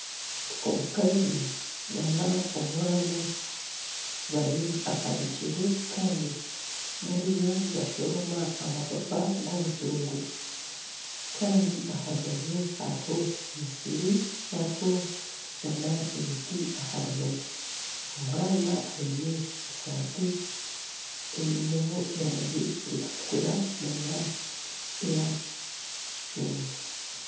Omukazi nana omwana bari aha bigyere bariyo nibashomoroma amapapa g'obutunguru kandi aha rubaju hariho emisiri hariho nana emiti aha rubaju, omwana aine eshati einemu erangi erikutukura nana eya kicungwa